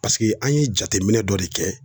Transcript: an ye jateminɛ dɔ de kɛ